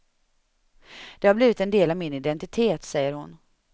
Det har blivit en del av min identitet, säger hon.